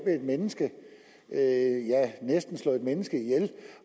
menneske ja næsten slå et menneske ihjel